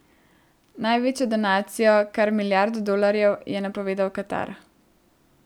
Največjo donacijo, kar milijardo dolarjev, je napovedal Katar.